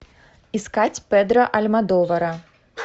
искать педро альмодовара